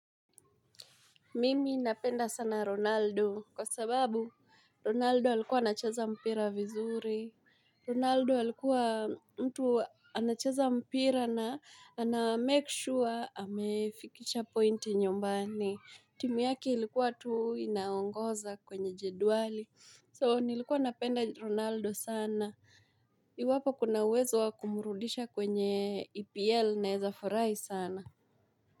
Mimi napenda sana ronaldo kwa sababu ronaldo alikuwa anacheza mpira vizuri ronaldo alikuwa mtu anacheza mpira na anamake sure amefikisha point nyumbani timu yake ilikuwa tu inaongoza kwenye jedwali so nilikuwa napenda ronaldo sana iwapo kunauwezo wa kumurudisha kwenye epl naweza furahi sana.